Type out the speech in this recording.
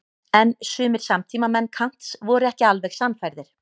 En sumir samtímamenn Kants voru ekki alveg sannfærðir.